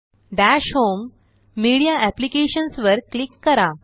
दश home media apps वर click करा